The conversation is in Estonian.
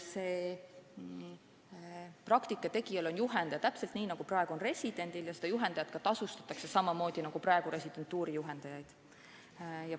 Praktika tegijal on juhendaja, nagu praegu on residendil, ja sellele juhendajale makstakse tasu samamoodi nagu praegu residentuuri juhendajale.